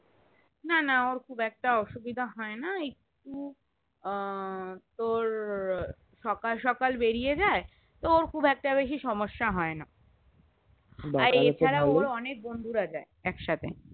না না ওর খুব একটা অসুবিধা হয়না একটু আহ তোর সকাল সকাল বেরিয়ে যায় তো ওর খুবেক্টা বেশি সমস্যা হয়না আর এছাড়াও ওর অনেক বন্ধুরা যায় একসাথে